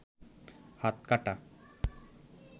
হাত কাটা